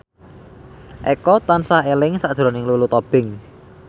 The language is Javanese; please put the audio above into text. Eko tansah eling sakjroning Lulu Tobing